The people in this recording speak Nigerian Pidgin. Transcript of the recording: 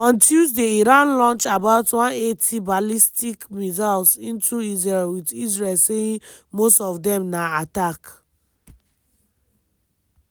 on tuesday iran launch about 180 ballistic missiles into israel wit israel saying most of dem na attack.